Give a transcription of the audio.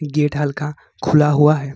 Gate हल्का खुला हुआ है।